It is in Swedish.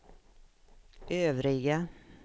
övriga